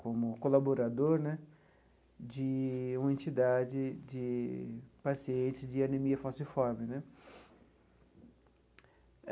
como colaborador né de uma entidade de pacientes de anemia falciforme né.